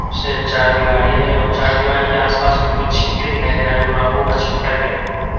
से चार दिवारी है और चार दिवारी के आस-पास में कुछ छिटके दिखाई दे रहा है जो रंगों का छिटका गया है ।